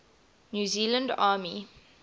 new zealand army